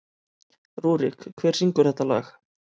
Rúrik, hver syngur þetta lag?